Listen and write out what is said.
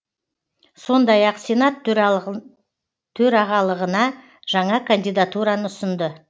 сондай ақ сенат төрағалығына жаңа кандидатураны ұсынды